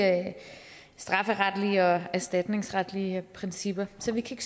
strafferetlige og erstatningsretlige principper så vi kan